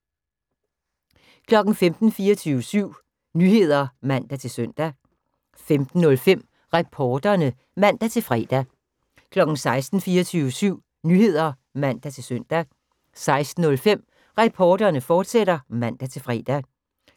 15:00: 24syv Nyheder (man-søn) 15:05: Reporterne (man-fre) 16:00: 24syv Nyheder (man-søn) 16:05: Reporterne, fortsat (man-fre)